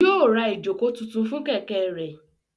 Yóò ra ìjókòó tuntun fún Kẹ̀kẹ́ rẹ̀